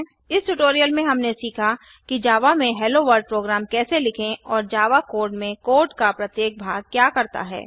इस ट्यूटोरियल में हमने सीखा कि जावा में हेलोवर्ल्ड प्रोग्राम कैसे लिखें और जावा कोड में कोड का प्रत्येक भाग क्या करता है